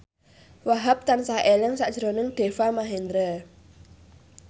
Wahhab tansah eling sakjroning Deva Mahendra